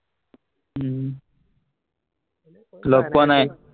উম লগ পোৱা নাই?